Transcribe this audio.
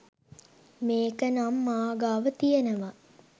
මේකනම් මා ගාව තියෙනවා